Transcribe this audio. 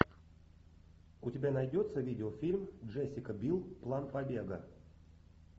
у тебя найдется видеофильм джессика бил план побега